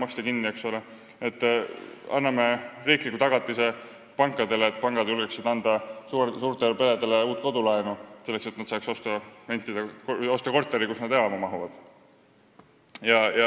Anname pankadele riikliku tagatise, et pangad julgeksid anda suurtele peredele uut kodulaenu, selleks et nad saaksid osta korteri, kuhu nad elama mahuvad.